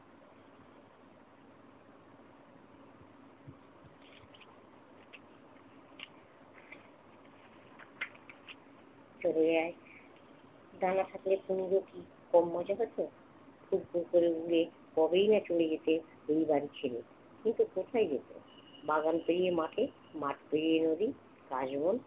চলে আয়। ডানা থাকলে কুমড়ো কি কম মজা হতো? তবেই না চলে গেছে ওই বাড়ি ছেড়ে। কিন্তু কোথায় গেছে? বাগান পেরিয়ে মাঠে, মাঠ পেরিয়ে নদী, কাশবন